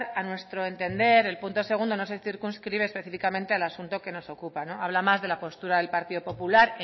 a nuestro entender el punto dos no se circunscribe específicamente al asunto que nos ocupa no habla más de la postura del partido popular